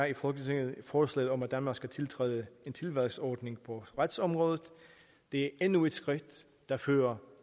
i folketinget forslaget om at danmark skal tiltræde en tilvalgsordning på retsområdet det er endnu et skridt der fører